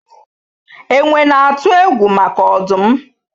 Enwe na-atụ egwu maka ọdụm